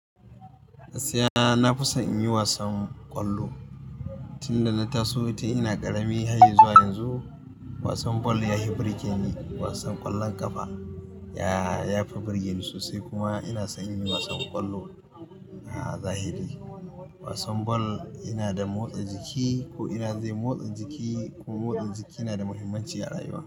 Gaskiya na fi son in yi wasan kwallo. Tunda na taso ita ina ƙarami har izuwa yanzu wasan bal ya hi birge ni. Wasan ƙwallon ƙafa, ya ya fi birge ni sosai kuma ina son in yi wasan ƙwallo. A zahiri wasan bal yana da motsa jiki ko ina zai motsa jiki, kuma motsa jiki na da muhimmanci a rayuwa.